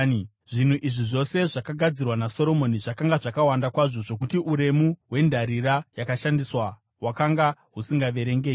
Zvinhu izvi zvose zvakagadzirwa naSoromoni zvakanga zvakawanda kwazvo zvokuti uremu hwendarira yakashandiswa hwakanga husingaverengeki.